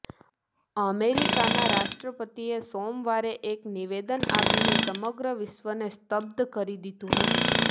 અમેરિકાના રાષ્ટ્રપતિએ સોમવારે એક નિવેદન આપીને સમગ્ર વિશ્વને સ્તબ્ધ કરી દીધું હતું